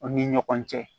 Aw ni ɲɔgɔn cɛ